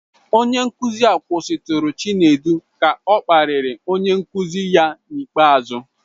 Onye nkuzi a kwụsịtụrụ Chinedu ka ọ kparịrị onye nkuzi ya n'ikpeazụ.